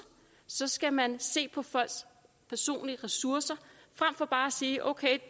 så skal man se på folks personlige ressourcer frem for bare at sige okay